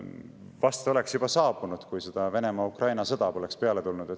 Vast oleks see juba saabunud, kui Venemaa-Ukraina sõda poleks peale tulnud.